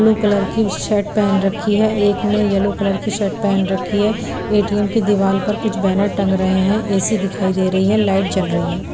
Blue colour की shirt पहन रखी है एक ने येलो कलर की शर्ट पहन रखी है ए_टी_एम की दीवार पर कुछ बैनर टंग रहे हैं एसी दिखाई दे रही है लाइट जल रही है ।